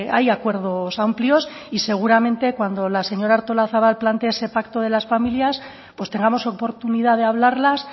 hay acuerdos amplios y seguramente cuando la señora artolazabal plantee ese pacto de las familias pues tengamos oportunidad de hablarlas